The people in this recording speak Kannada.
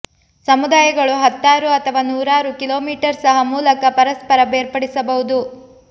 ಸಮುದಾಯಗಳು ಹತ್ತಾರು ಅಥವಾ ನೂರಾರು ಕಿಲೋಮೀಟರ್ ಸಹ ಮೂಲಕ ಪರಸ್ಪರ ಬೇರ್ಪಡಿಸಬಹುದು